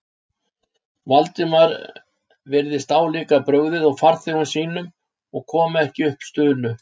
Valdimar virtist álíka brugðið og farþegum sínum og kom ekki upp stunu.